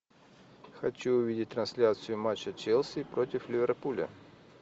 хочу увидеть трансляцию матча челси против ливерпуля